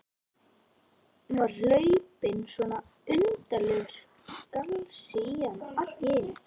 Var hlaupinn svona undarlegur galsi í hana allt í einu?